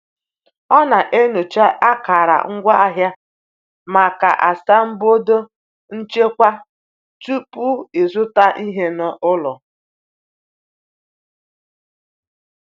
O na-enyocha akara ngwaahịa maka asambodo nchekwa tupu ịzụta ihe n’ụlọ.